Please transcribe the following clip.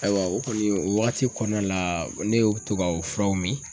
Ayiwa o kɔni o wagati kɔnɔna la ne y'o to ka o furaw min.